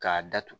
K'a datugu